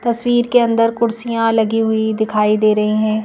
तस्वीर के अंदर कुर्सियां लगी हुई दिखाई दे रही हैं।